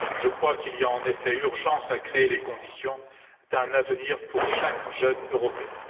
Je crois qu'il y a en effet urgence à créer les conditions d'un avenir pour chaque jeune Européen.